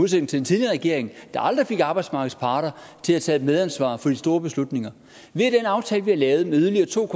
til den tidligere regering der aldrig fik arbejdsmarkedets parter til at tage et medansvar for de store beslutninger via den aftale vi har lavet med yderligere to